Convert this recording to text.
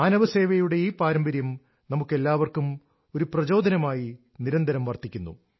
മാനവ സേവയുടെ ഈ പാരമ്പര്യം നമുക്കെല്ലാവർക്കും ഒരു പ്രചോദനമായി നിരന്തരം വർത്തിക്കുന്നു